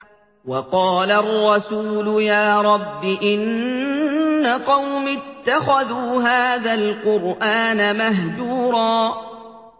وَقَالَ الرَّسُولُ يَا رَبِّ إِنَّ قَوْمِي اتَّخَذُوا هَٰذَا الْقُرْآنَ مَهْجُورًا